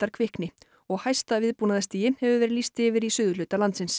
kvikni og hæsta hefur verið lýst yfir í suðurhluta landsins